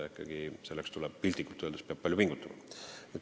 Selleks peab ikkagi, piltlikult öeldes, palju pingutama.